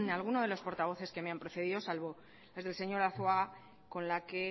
alguno de los portavoces que me han precedido salvo las del señor arzuaga con la que